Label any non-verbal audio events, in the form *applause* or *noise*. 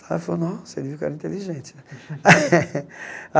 Aí ele falou, nossa, ele viu que eu era inteligente né. *laughs*